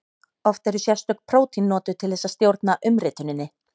Oft eru sérstök prótín notuð til þess að stjórna umrituninni.